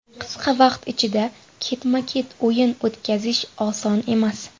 Qisqa vaqt ichida ketma-ket o‘yin o‘tkazish oson emas.